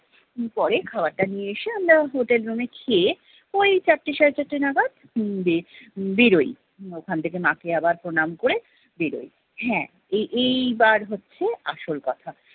কিছুক্ষন পরে খাবার টা নিয়ে এসে আমরা hotel room এ খেয়ে, ওই চারটে সাড়ে চারটে নাগাদ উম বের~ বেরোই। ওখান থেকে মাকে আবার প্রণাম করে বেরোই। হ্যাঁ এই ~এইবার হচ্ছে আসল কথা।